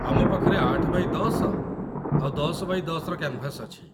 ଆମ ପାଖରେ ୮×୧୦ ଆଉ ୧୦×୧୦ର କ୍ୟାନ୍‌ଭାସ୍ ଅଛି ।